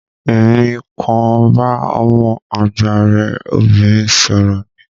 Emi kan bá ọmọ àgbà rẹ obìnrin sọrọ ní.